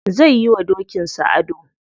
Zai yi wa dokin sa ado.